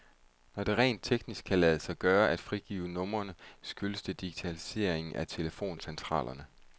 Når det rent teknisk kan lade sig gøre at frigive numrene, skyldes det digitaliseringen af telefoncentralerne.